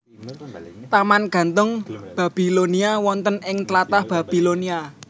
Taman Gantung Babilonia wonten ing tlatah Babilonia